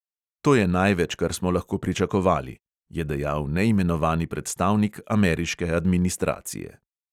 "To je največ, kar smo lahko pričakovali," je dejal neimenovani predstavnik ameriške administracije.